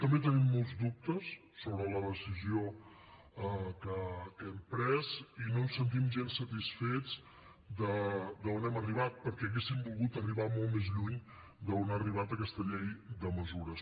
també tenim molts dubtes sobre la decisió que hem pres i no ens sentim gens satisfets d’on hem arribat perquè hauríem volgut arribar molt més lluny d’on ha arribat aquesta llei de mesures